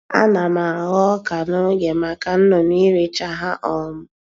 Ana m Aghọ ọka n'oge maka nnụnụ iricha ha um